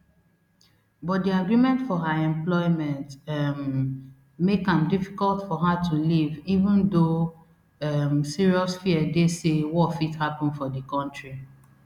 but di agreement for her employment um make am difficult for her to leave even though um serious fear dey say war fit happun for di kontri